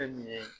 Fɛn min ye